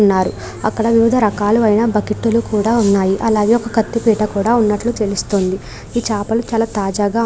ఉన్నారు. అక్కడ వివిధ రకాలువైన బకెట్లు కూడా ఉన్నాయి. అలాగే ఒక కత్తిపీట కూడా ఉన్నట్లు తెలుస్తోంది. ఈ చేపలు చాలా తాజాగా --